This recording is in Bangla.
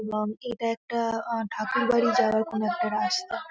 এবং এটা একটা ঠাকুরবাড়ি যাওয়ার কোন একটা রাস্তা ।